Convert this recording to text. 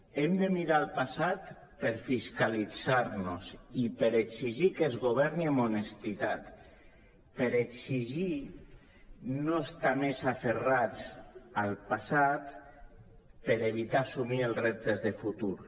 hem de mirar el passat per fiscalitzar nos i per exigir que es governi amb honestedat per exigir no estar més aferrats al passat per evitar assumir els reptes de futur